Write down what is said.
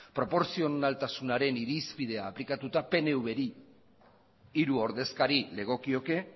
proportzionaltasunaren irizpidean aplikatuta pnvri hiru ordezkari legokioke